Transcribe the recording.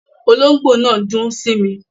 Olóngbò náà n dún sími